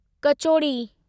kachori